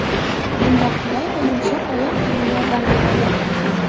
Bunda qulay va yumshoq oyoq kiyimi yordam beradi.